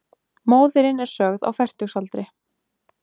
Móðirin er sögð á fertugsaldri